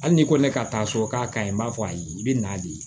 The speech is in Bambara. Hali n'i ko ne ka taa sɔrɔ k'a ka ɲi n b'a fɔ ayi i bɛ na de